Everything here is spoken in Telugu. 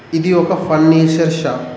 ఇది ఒక ఫర్నిచర్ షాప్ .